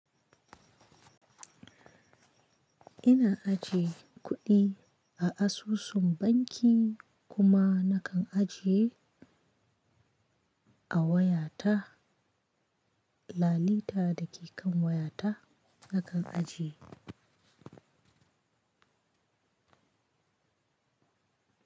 Ina ajiye kuɗi a asusun banki kuma na kan ajiye a wayata. Lalita da ke kan wayata na kan ajiye.